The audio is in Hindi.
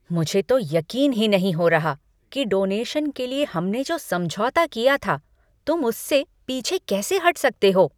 मुझे तो यकीन ही नहीं हो रहा कि डोनेशन के लिए हमने जो समझौता किया था, तुम उससे पीछे कैसे हट सकते हो।